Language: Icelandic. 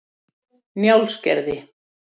Njálsgerði